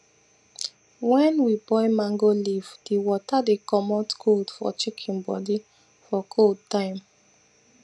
wen we boil mango leaf di water dey comot cold for chicken bodi for cold time